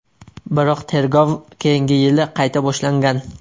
Biroq tergov keyingi yili qayta boshlangan.